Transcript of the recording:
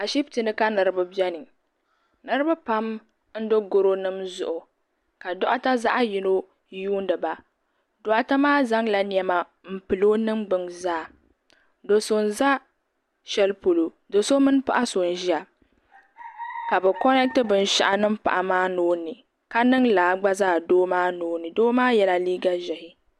Ashiptini ka niriba biɛni nitiba pam n do. goro nima zuɣu ka doɣata zaɣa yino yuuni ba doɣata maa zaŋla niɛma m pili o niŋgbina zaa do so n za sheli polo do'so mini paɣa so n ʒia ka bɛ koneti binshaɣu niŋ paɣa maa nuuni ka niŋ lala doo maa nuuni doo maa yela liiga ʒehi.